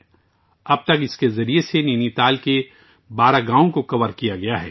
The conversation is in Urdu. نینی تال کے 12 گاؤوں کو اب تک اس کے ذریعے کور کیا جا چکا ہے